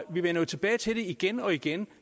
vi vender tilbage til det igen og igen